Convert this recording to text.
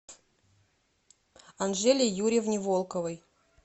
анжеле юрьевне волковой